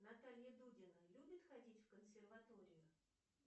наталья дудина любит ходить в консерваторию